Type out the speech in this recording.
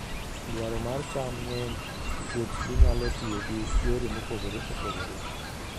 Dwaro mar cham ng'eny nikech ginyalo tiyo gi yore mopogore opogore.